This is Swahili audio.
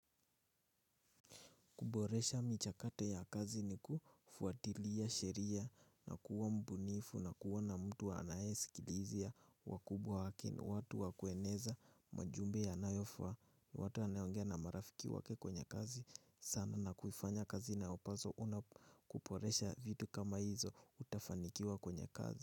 Kuboresha michakate ya kazi ni kufuatilia sheria na kuwa mbunifu na kuwa na mtu wa anae sikilizia wa kubwa wake watu wa kueneza majumbe yanayofaa. Watu anayeongea na marafiki wake kwenye kazi, sana na kuifanya kazi na opazo una kuporesha vitu kama hizo utafanikiwa kwenye kazi.